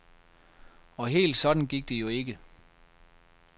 Og helt sådan gik det jo ikke.